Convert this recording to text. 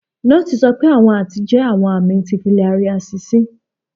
Nọọsi sọ pe awọn aati jẹ awọn ami ti filariasis.